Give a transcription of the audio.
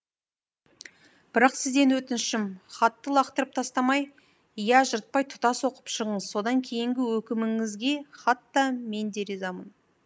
бірақ сізден өтінішім хатты лақтырып тастамай я жыртпай тұтас оқып шығыңыз содан кейінгі өкіміңізге хат та мен де ризамын